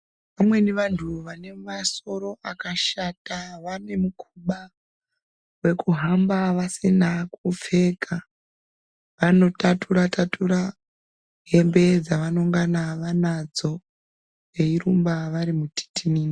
Vamweni vantu vane masoro akashata vane mukhuba wekuhamba vasina kupfeka. Vanothathura thathura hembe dzevanongana vanadzo veirumba vari mutitinini.